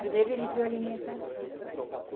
Primeiro, ele viu a alimentação.